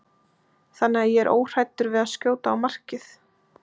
Þannig að ég er óhræddur við að skjóta á markið.